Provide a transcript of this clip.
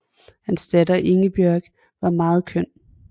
Hans datter Ingebjørg var meget køn